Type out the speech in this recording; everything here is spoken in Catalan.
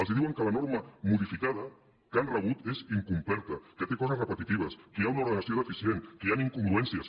els diuen que la norma modificada que han rebut és incompleta que té coses repetitives que hi ha una ordenació deficient que hi han incongruències